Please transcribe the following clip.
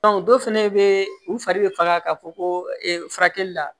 dɔ fɛnɛ be u fari be faga ka fɔ ko furakɛli la